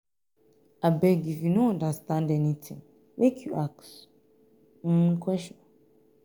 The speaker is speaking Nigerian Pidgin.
abeg if you no understand anytin make you ask question.